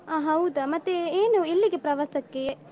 ಅಹ್ ಹೌದಾ ಮತ್ತೆ ಏನು ಎಲ್ಲಿಗೆ ಪ್ರವಾಸಕ್ಕೆ?